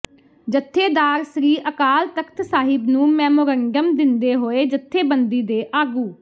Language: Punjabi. ਜੱਥੇਦਾਰ ਸ੍ਰੀ ਅਕਾਲ ਤਖਤ ਸਾਹਿਬ ਨੂੰ ਮੈਮੋਰੰਡਮ ਦਿੰਦੇ ਹੋਏ ਜੱਥੇਬੰਦੀ ਦੇ ਆਗੂ